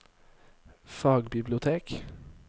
fagbibliotek